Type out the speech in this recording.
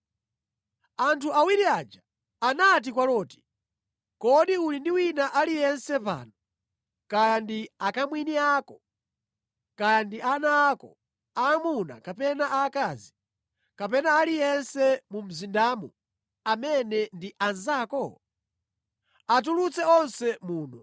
Anthu awiri aja anati kwa Loti, “Kodi uli ndi wina aliyense pano, kaya ndi akamwini ako, kaya ndi ana ako aamuna kapena aakazi, kapena aliyense mu mzindamu amene ndi anzako? Atulutse onse muno,